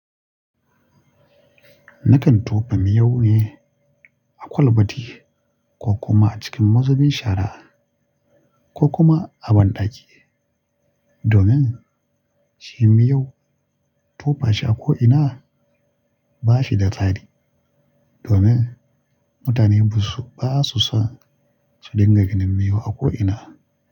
Nakan tofa miyau ne a kwalbati ko kuma a cikin mazubin shara ko kuma a banɗaki. Domin shi miyau tofashi a ko ina ba shi da tsari. Domin mutane ba su, ba su son su dinga ganin miyau a ko ina.